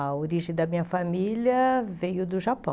A origem da minha família veio do Japão.